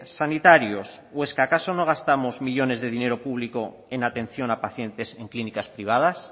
sanitarios o es que acaso no gastamos millónes de dinero público en atención a pacientes en clínicas privadas